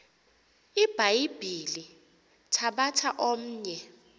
ibhayibhile thabatha omnye